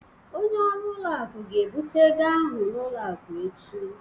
Onye ọrụ ụlọ akụ ga-ebute ego ahụ n'ụlọ akụ echi